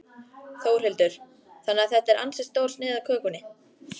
Þórhildur: Þannig að þetta er ansi stór sneið af kökunni?